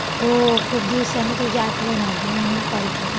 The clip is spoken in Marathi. हो. खूप दिवसांनी तुझी आठवण आली म्हणून कॉल केला.